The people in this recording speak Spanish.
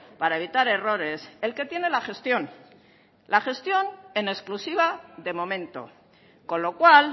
para evitar errores el que tiene la gestión la gestión en exclusiva de momento con lo cual